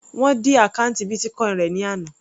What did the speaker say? Wọ́n dí àkọ́ùntì Bitcoin rẹ̀ ní àná.